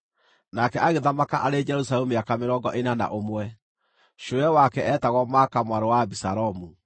nake agĩthamaka arĩ Jerusalemu mĩaka mĩrongo ĩna na ũmwe. Cũwe wake eetagwo Maaka mwarĩ wa Abisalomu.